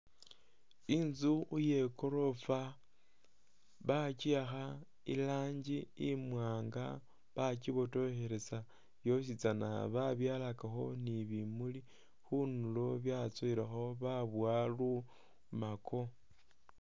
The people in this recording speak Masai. Intzu iye goorofa bachiakha irangi imwanga, bachibotokhelesa yositsana babyalakawo ni bumuli khundulo byatsowelakho baboya lumako